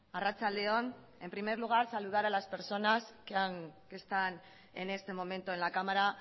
arratsalde on en primer lugar saludar a las personas que están en este momento en la cámara